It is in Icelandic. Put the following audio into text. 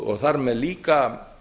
og þar með líka